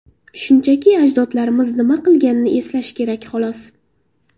shunchaki ajdodlarimiz nima qilganini eslash kerak, xolos.